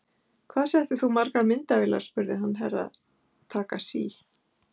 Hvað settir þú margar myndavélar spurði hann Herra Takashi.